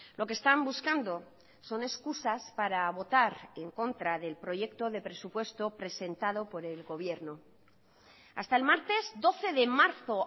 lo que están buscando son excusas para votar en contra del proyecto de presupuesto presentado por el gobierno hasta el martes doce de marzo